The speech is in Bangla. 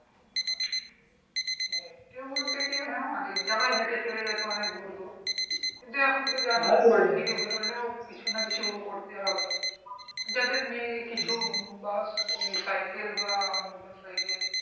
হ্যাঁ, হেটে বলতে তো অনেক জায়গা হেটে চলে যেত অনেক দূর দূর কিন্তু এখন তো জানো বাড়ি থেকে বেরোলেও কিছু না কিছু করতে হবে যাদের নেই কিছু সাইকেল বা মোটর সাইকেল